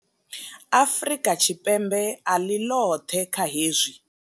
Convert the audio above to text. Afrika Tshipembe a ḽi ḽoṱhe kha hezwi.